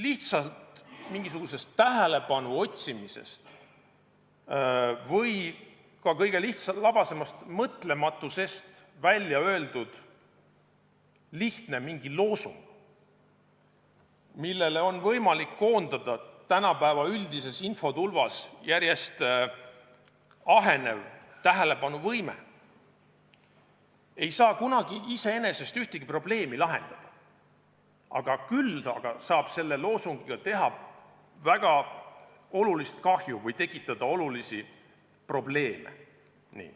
Lihtsalt mingisugusest tähelepanu otsimisest või ka lihtlabasemast mõtlematusest välja öeldud loosung, millele on võimalik koondada tänapäeva üldises infotulvas järjest ahenev tähelepanuvõime, ei saa kunagi iseenesest ühtegi probleemi lahendada, küll aga saab selle loosungiga teha väga suurt kahju või tekitada probleeme.